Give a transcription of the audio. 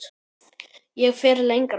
Ég fer lengra.